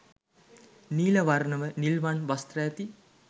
නීල වර්ණ ව නිල්වන් වස්ත්‍ර ඇති